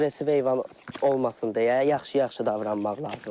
Aqressiv heyvan olmasın deyə yaxşı-yaxşı davranmaq lazımdır.